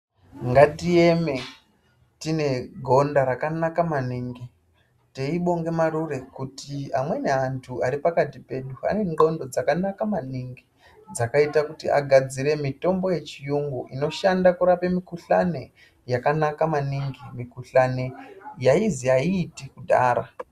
Ngatieme tine gonda rakanaka maningi teibonge marure kuti amweni antu aripakati pedu anen'onto dzakanaka maningi dzakaite kuti agadzire mitombo yechiyungu inoshande kurape mikuhlani yakanaka maningi mikuhlani yaizi aiiti kudhaya.